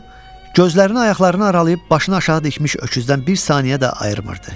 O gözlərini ayaqlarını aralayıb başını aşağı dikmiş öküzdən bir saniyə də ayırmırdı.